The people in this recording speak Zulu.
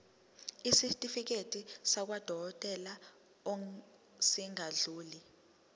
isitifiketi sakwadokodela esingadluli